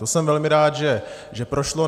To jsem velmi rád, že prošlo.